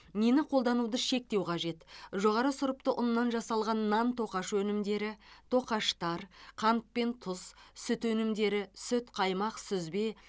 нені қолдануды шектеу қажет жоғары сұрыпты ұннан жасалған нан тоқаш өнімдері тоқаштар қант пен тұз сүт өнімдері сүт қаймақ сүзбе